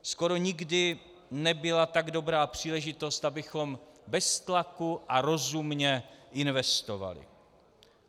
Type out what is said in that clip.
Skoro nikdy nebyla tak dobrá příležitost, abychom bez tlaku a rozumně investovali.